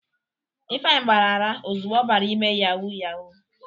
Ifeanyi gbara ara ozugbo ọbara ime yawu yawu.